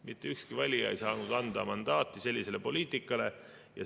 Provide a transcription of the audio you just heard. Mitte ükski valija ei saanud anda mandaati sellisele poliitikale.